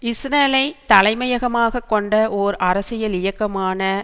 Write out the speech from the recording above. இஸ்ரேலைத் தலைமையகமாக கொண்ட ஓர் அரசியல் இயக்கமான